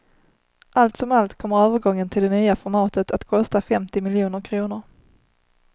Allt som allt kommer övergången till det nya formatet att kosta femtio miljoner kronor.